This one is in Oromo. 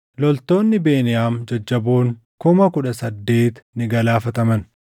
Loltoonni Beniyaam jajjaboon kuma kudha saddeet ni galaafataman.